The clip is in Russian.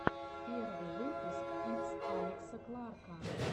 первый выпуск итс алекса кларка